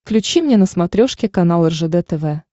включи мне на смотрешке канал ржд тв